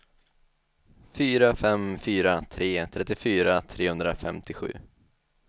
fyra fem fyra tre trettiofyra trehundrafemtiosju